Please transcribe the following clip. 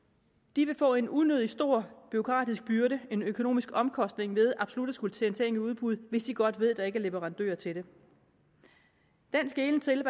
de vil få en unødig stor bureaukratisk byrde en økonomisk omkostning ved absolut at skulle sende ting i udbud hvis de godt ved at der ikke er leverandører til det den skelen til